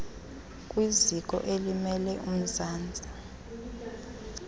kwiziko elimele umzantsi